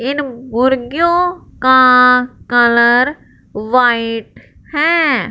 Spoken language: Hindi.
इन मुर्गियों का कलर व्हाइट हैं।